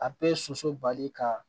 A bɛ soso bali ka